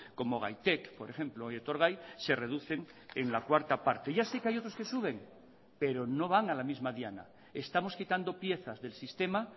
como gaitek por ejemplo o etorgai se reducen en la cuarta parte ya sé que hay otros que suben pero no van a la misma diana estamos quitando piezas del sistema